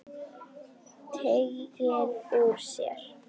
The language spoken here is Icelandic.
Teygir úr sér.